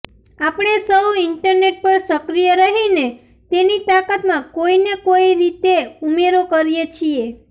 આપણે સૌ ઇન્ટરનેટ પર સક્રિય રહીને તેની તાકાતમાં કોઈ ને કોઈ રીતે ઉમેરો કરીએ છીએ